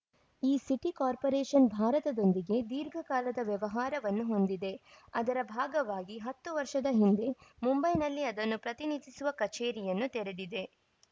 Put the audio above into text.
ಈ city corporation ಭಾರತದೊಂದಿಗೆ ದೀರ್ಘಕಾಲದ ವ್ಯವಹಾರವನ್ನು ಹೊಂದಿದೆ ಅದರ ಭಾಗವಾಗಿ ಹತ್ತು ವರ್ಷದ ಹಿಂದೆ ಮುಂಬೈನಲ್ಲಿ ಅದನ್ನು ಪ್ರತಿನಿಧಿಸುವ ಕಚೇರಿಯನ್ನು ತೆರೆದಿದೆ